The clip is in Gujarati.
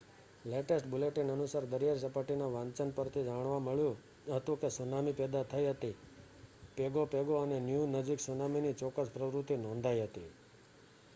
લેટેસ્ટ બુલેટિન અનુસાર દરિયાઈ સપાટીના વાંચન પરથી જાણવા મળ્યું હતું કે સુનામી પેદા થઈ હતી પેગો પેગો અને ન્યુ નજીક સુનામીની ચોક્કસ પ્રવૃત્તિ નોંધાઈ હતી